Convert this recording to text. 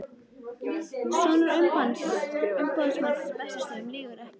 Sonur umboðsmannsins á Bessastöðum lýgur ekki.